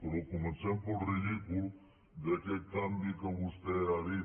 però comencem pel ridícul d’aquest canvi que vostè ha dit